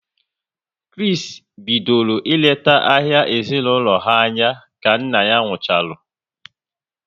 Kris bidoro ị lete ahia ezinaụlọ ha anya ka nna ya nkwucharu